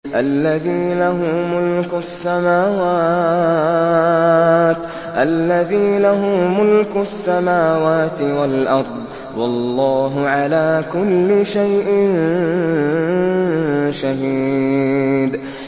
الَّذِي لَهُ مُلْكُ السَّمَاوَاتِ وَالْأَرْضِ ۚ وَاللَّهُ عَلَىٰ كُلِّ شَيْءٍ شَهِيدٌ